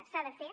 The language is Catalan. s’ha de fer